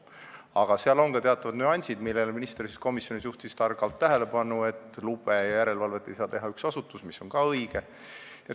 Aga seal on teatavad nüansid, millele minister komisjonis targalt tähelepanu juhtis: lube anda ja järelevalvet teha ei saa üks asutus, mis on ka õige.